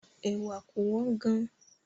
Ẹ̀wà kò wọ́n gan-an